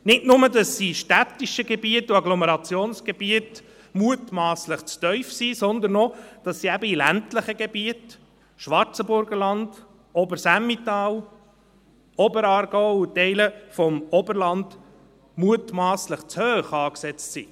Nicht nur, dass sie in städtischen Gebieten und in Agglomerationsgebieten mutmasslich zu tief sind, sondern auch, dass sie für ländliche Gebiete, Schwarzenburgerland, Oberes Emmental, Oberaargau und Teile des Oberlands, mutmasslich zu hoch angesetzt sind.